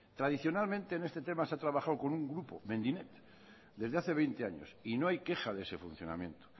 tradicionalmente en este tema se ha trabajado con un grupo mendinet desde hace veinte años y no hay queja de ese funcionamiento